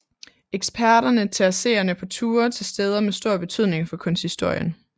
Eksperterne tager seerne på ture til steder med stor betydning for kunsthistorien